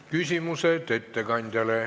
Küsimused ettekandjale.